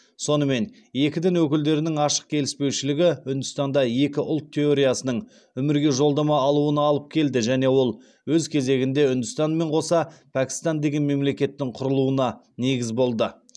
сонымен екі дін өкілдерінің ашық келіспеушілігі үндістанда екі ұлт теориясының өмірге жолдама алуына алып келді және ол өз кезегінде үндістанмен қоса пәкістан деген мемлекеттің құрылуына негіз болды